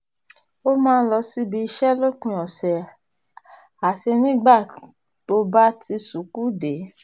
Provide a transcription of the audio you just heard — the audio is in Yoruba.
ó máa ń lọ síbi iṣẹ́ lópin ọ̀sẹ̀ àti nígbà tó bá ti ṣùkùú dé